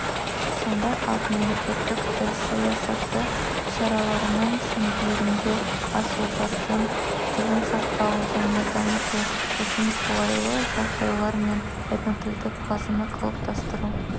сондай-ақ мемлекеттік тіл саясаты шараларының шеңберінде аз ұлттардың тілін сақтау және дамыту үшін қолайлы жағдайлар мен этнотілдік базаны қалыптастыру